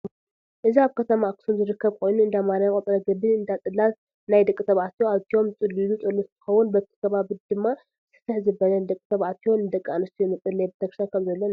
እዚ ኣብ ከተማ ኣክሱም ዝርከብ ኮይኑ እዳማርያም ቅፅረ ግቢ እዳፅላት ናይ ደቂ ተባኣትዮ ኣትዮም ዝፅልዩሉ ፀሎት እንትከውን በቲ ከባቢ ድማ ስፍሕ ዝበለ ንደቂ ተባዕትዮ ንደቂ ኣንስትዮ መፀለይ ቤተክርስትያን ከም ዘሎ ንሕብር።